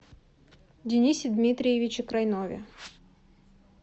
денисе дмитриевиче крайнове